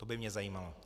To by mě zajímalo.